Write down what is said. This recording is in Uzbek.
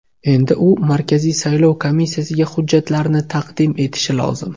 Endi u Markaziy saylov komissiyasiga hujjatlarni taqdim etishi lozim.